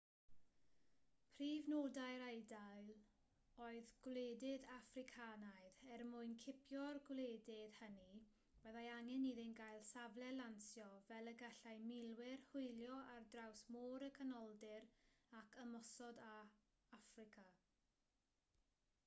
prif nodau'r eidal oedd gwledydd affricanaidd er mwyn cipio'r gwledydd hynny byddai angen iddynt gael safle lansio fel y gallai milwyr hwylio ar draws môr y canoldir ac ymosod ar affrica